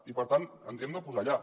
i per tant ens hi hem de posar ja